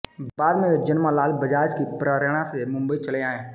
बाद में वे जमनालाल बजाज की प्रेरणा से मुंबई चले आए